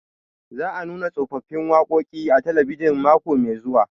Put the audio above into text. Za a nuna tsofaffin waƙoƙi a talabijin mako mai zuwa